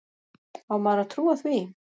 Á maður að trúa því?